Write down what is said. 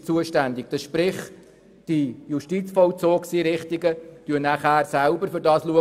Dies bedeutet, dass die Justizvollzugseinrichtungen künftig selber darum besorgt sind.